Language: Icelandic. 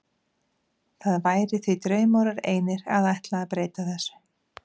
Það væri því draumórar einir að ætla að breyta þessu.